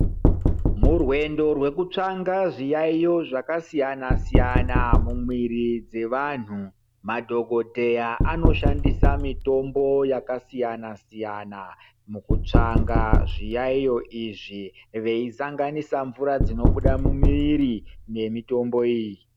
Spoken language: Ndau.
Murwendo rwekutsvanga zviyaiyo zvakasiyanasiyana mumwiri mwevanhu madhokodheya anoshandisa mitombo yakasiyanasiyana mukutsvanga zviyaeyo izvi veisanganisa mvura dzinobuda mumwiri nemitombo iyi.